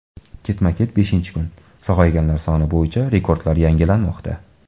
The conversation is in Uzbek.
Ketma-ket beshinchi kun sog‘ayganlar soni bo‘yicha rekordlar yangilanmoqda.